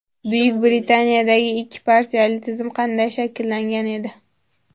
Buyuk Britaniyadagi ikki partiyali tizim qanday shakllangan edi?.